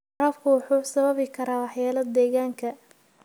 Waraabku wuxuu sababi karaa waxyeelo deegaanka.